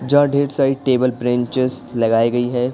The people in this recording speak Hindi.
जहां ढेर सारी टेबल प्रेंचेस लगाई गई हैं।